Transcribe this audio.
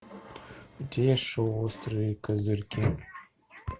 у тебя есть шоу острые козырьки